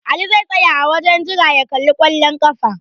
Ali zai tsaya a wajen jira ya kalli ƙwallon ƙafa.